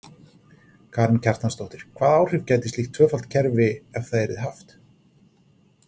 Karen Kjartansdóttir: Hvaða áhrif gæti slíkt tvöfalt kerfi ef það yrði haft?